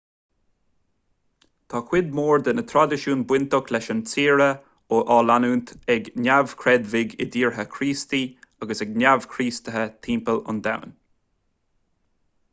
tá cuid mhór de na traidisiúin bainteach leis an tsaoire á leanúint ag neamhchreidmhigh i dtíortha críostaí agus ag neamh-chríostaithe timpeall an domhain